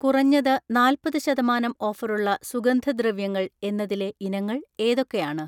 കുറഞ്ഞത് നാല്പത് ശതമാനം ഓഫറുള്ള സുഗന്ധദ്രവ്യങ്ങൾ എന്നതിലെ ഇനങ്ങൾ ഏതൊക്കെയാണ്?